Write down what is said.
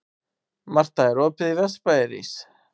Marta, er opið í Vesturbæjarís?